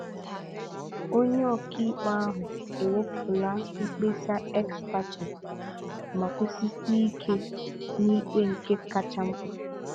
Onye ọkaikpe ahụ ewepụla mkpesa ex parte ma kwụsisie ike na ikpe nke kacha mkpa.